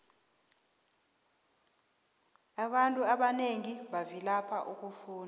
abantu abanengi bavilapha ukufunda